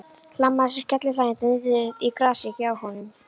Hlammaði sér skellihlæjandi niður í grasið hjá honum.